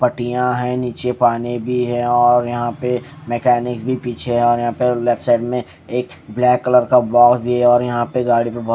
पाटिया है निचे पानी भी है और यहाँ पे मैकेनिक्स भी पीछे है और यहाँ पे लेफ्ट साईड में एक ब्लैक कलर का बॉक्स भी है और यहाँ पे गाड़ी पे बोहोत --